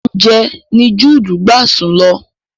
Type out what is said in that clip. Ibi oúnjẹ ni juudu gbà sùn lọ